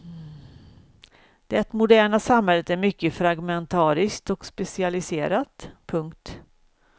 Det moderna samhället är mycket fragmentariskt och specialiserat. punkt